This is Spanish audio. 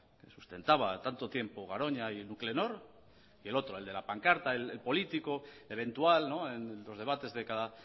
que sustentaba tanto tiempo garoña y nuclenor y el otro el de la pancarta el político eventual en los debates de cada